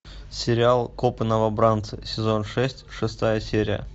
сериал копы новобранцы сезон шесть шестая серия